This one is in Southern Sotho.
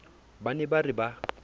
ba ne ba re ba